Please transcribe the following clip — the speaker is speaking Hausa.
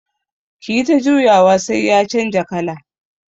Kiyi ta juyawa sai ya canja kala.